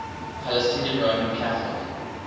palestinian roman catholic